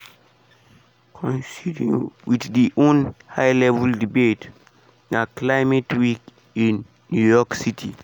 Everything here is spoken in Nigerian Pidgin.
coinciding wit di un high level debate na climate week in new york city.